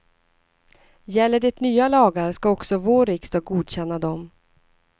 Gäller det nya lagar ska också vår riksdag godkänna dem.